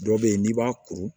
Dɔ bɛ yen n'i b'a kuru